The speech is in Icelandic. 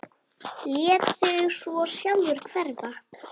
Lét sig svo sjálfur hverfa.